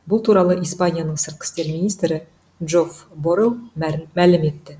бұл туралы испанияның сыртқы істер министрі джоф боррел мәлім етті